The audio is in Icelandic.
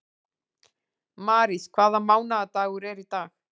Marís, hvaða mánaðardagur er í dag?